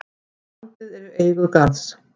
Landið er í eigu Garðs.